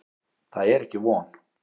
Það er ekki von.